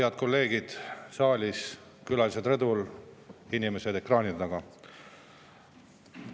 Head kolleegid saalis, külalised rõdul, inimesed ekraanide taga!